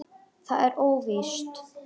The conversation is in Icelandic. Það er óvíst.